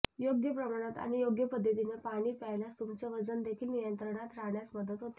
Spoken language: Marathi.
योग्य प्रमाणात आणि योग्य पद्धतीनं पाणी प्यायल्यास तुमचे वजन देखील नियंत्रणात राहण्यास मदत होते